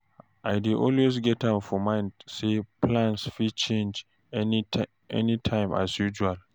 I dey always get am for mind say plans fit change anytime as usual